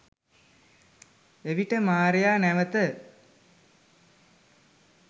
එවිට මාරයා නැවත